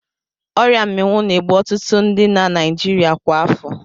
Ọria Mmịwụ na-egbu ọtụtụ ndi na Naịjirịa kwa afọ.